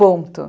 Ponto.